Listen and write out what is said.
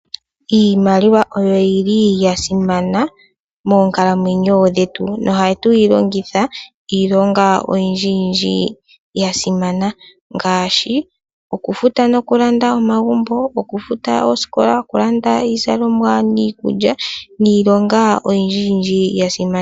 Iimaliwa oyo yili ya simana moonkalamwenyo dhetu nohatu yi longitha iilonga oyindji yindji ya simana ngaashi okufuta nokulanda omagumbo, okufuta oosikola, okulanda iizalomwa niikulya niilonga oyindji yindji ya simana.